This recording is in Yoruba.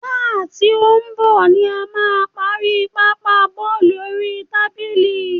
Sáà tí ó ń bọ̀ ni a máa parí Pápá bọ́ọ̀lù oríi tábìlì.